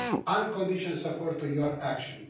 unconditional support for your action.